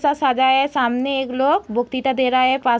सजाया है सामने एक लोग दे रहा है | पा --